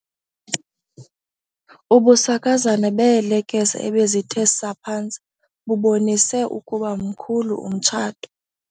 Ubusakazane beelekese ebezithe saa phantsi bubonise ukuba mkhulu umtshato.